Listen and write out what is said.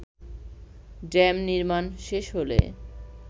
dam নির্মাণ শেষ হলে